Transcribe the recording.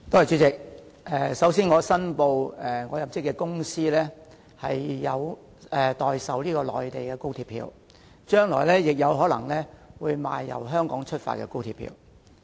主席，首先，我申報我入職的公司有代售內地高鐵票，將來亦可能會售賣由香港發出的高鐵票。